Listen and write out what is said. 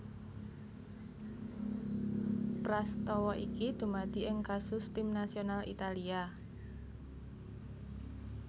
Prastawa iki dumadi ing kasus Tim nasional Italia